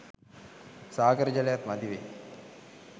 සාගර ජලයත් මදිවෙයි.